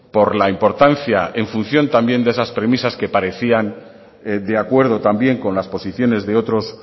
por la importancia en función también de esa premisas que parecían de acuerdo también con las posiciones de otros